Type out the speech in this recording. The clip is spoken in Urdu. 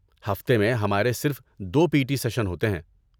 ہفتے میں ہمارے صرف دو پی ٹی سیشن ہوتے ہیں۔